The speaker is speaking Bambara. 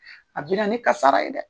A bi na ni kasara ye dɛ.